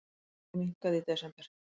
Afli minnkaði í desember